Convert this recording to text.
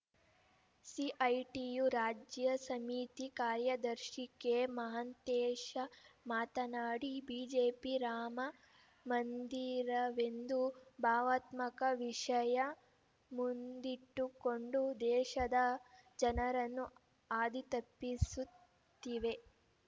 CITU ರಾಜ್ಯ ಸಮಿತಿ ಕಾರ್ಯದರ್ಶಿ ಕೆಮಹಾಂತೇಶ ಮಾತನಾಡಿ ಬಿಜೆಪಿ ರಾಮ ಮಂದಿರವೆಂದು ಭಾವತ್ಮಕ ವಿಷಯ ಮುಂದಿಟ್ಟುಕೊಂಡು ದೇಶದ ಜನರನ್ನು ಹಾದಿ ತಪ್ಪಿಸುತ್ತಿವೆ